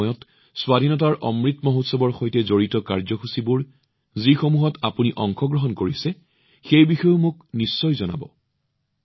এই সময়ত আজাদীৰ অমৃত মহোৎসৱ আপোনালোকে অংশগ্ৰহণ কৰি থকা অনুষ্ঠানবোৰৰ সৈতে সম্পৰ্কিত কাৰ্যসূচীবোৰৰ বিষয়েও মোক জনাব